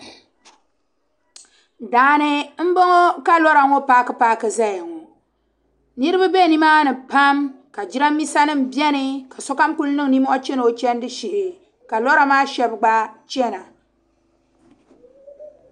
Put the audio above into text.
Daani n bɔŋɔ ka lɔra ŋɔ paaki paaki zayaŋɔ niribi be nimaa ni pam jiranbisa nim beni ka sokam kuli niŋ nimohi. n cheni ɔchandi shee, kalɔra maa shab gba chana,